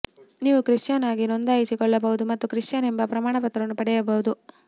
ನೀವು ಕ್ರಿಶ್ಚಿಯನ್ ಆಗಿ ನೋಂದಾಯಿಸಿಕೊಳ್ಳಬಹುದು ಮತ್ತು ಕ್ರಿಶ್ಚಿಯನ್ ಎಂಬ ಪ್ರಮಾಣಪತ್ರವನ್ನು ಪಡೆಯಬಹುದು